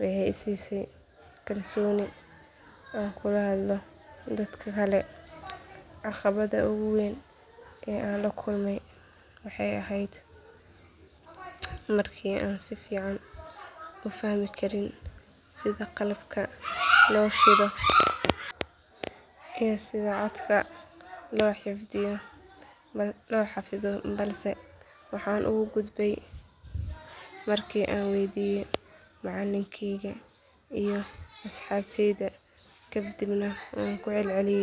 waxay i siisay kalsooni aan kula hadlo dad kale caqabadda ugu weyn ee aan la kulmay waxay ahayd markii aanan si fiican u fahmi karin sida qalabka loo shido iyo sida codka loo xafido balse waxaan uga gudbay markii aan weydiiyay macallinkayga iyo asxaabtayda kadibna waan ku celceliyay.